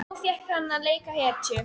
Nú fékk hann að leika hetju.